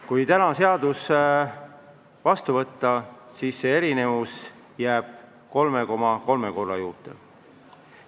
Kui täna seadus vastu võtta, siis see erinevus jääb 3,3 korra juurde.